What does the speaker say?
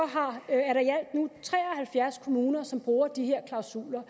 halvfjerds kommuner som bruger de her klausuler